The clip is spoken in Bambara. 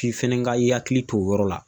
F'i fɛnɛ ka i hakili to o yɔrɔ la